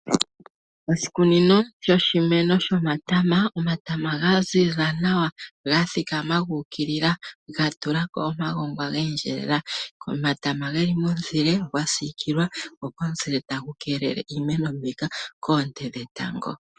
Oshikunino shoshimeno shomatama . Omatama ga ziza nawa ga thikama gu ukilila ga tulako omagongwa ga endjelela . Omatama geli momuzile ga siikilwa komuzile tagu keelele iimeno koonte dhetango .